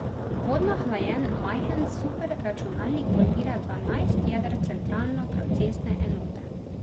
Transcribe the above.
Vodno hlajen majhen superračunalnik podpira dvanajst jeder centralno procesne enote.